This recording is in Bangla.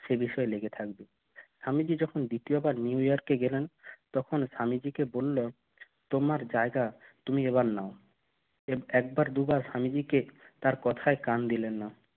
সে বিষয়ে লেগে থাকবে তো আমি যখন দ্বিতীয়বার New York কে গেলাম তখন স্বামীজি কে বলল তোমার জায়গা তুমি এবার না এব একবার দুবার স্বামীজিকে তার কথায় কান দিল না।